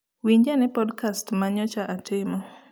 Winj ane podcast ma nyocha atimo